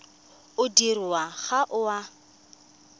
o dirwang ga o a